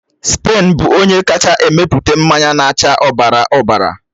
Spen bụ onye kacha emepụta mmanya na-acha ọbara ọbara.